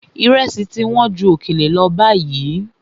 Ìrẹsì ti wọ́n ju òkèlè lọ báyìí.